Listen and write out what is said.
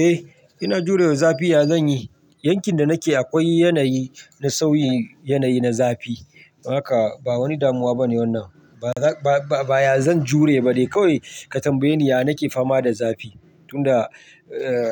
Eh ina jurewa zafi, ya zanyi? Yankin da nake akwai yanayi na sauyi, yanayi na zafi. Haka ba wani damuwa bane wannan. Ba, ba, ba ya zan jure ba. Dai kawai ka tambaye ni, ya nake fama da zafi? Tunda